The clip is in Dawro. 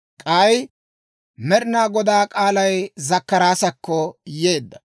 K'aykka Med'inaa Godaa k'aalay Zakkaraasakko yeedda.